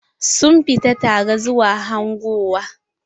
Sun fita tare zuwa hangowa.